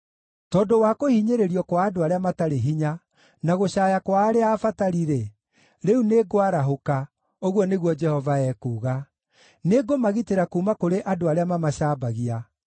“Tondũ wa kũhinyĩrĩrio kwa andũ arĩa matarĩ hinya, na gũcaaya kwa arĩa abatari-rĩ, rĩu nĩngwarahũka,” ũguo nĩguo Jehova ekuuga. “Nĩngũmagitĩra kuuma kũrĩ andũ arĩa mamacambagia.”